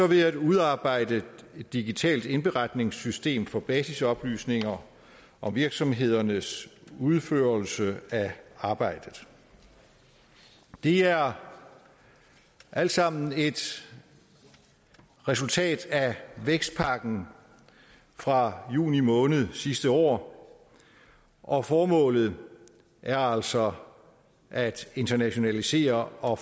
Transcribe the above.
ved at udarbejde et digitalt indberetningssystem for basisoplysninger om virksomhedernes udførelse af arbejdet det er alt sammen et resultat af vækstpakken fra juni måned sidste år og formålet er altså at internationalisere og